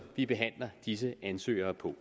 vi behandler disse ansøgere på